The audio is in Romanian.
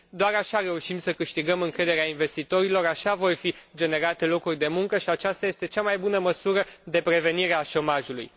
Doar așa reușim să câștigăm încrederea investitorilor, așa vor fi generate locuri de muncă și aceasta este cea mai bună măsură de prevenire a șomajului.